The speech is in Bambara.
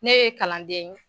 Ne ye kalanden ye.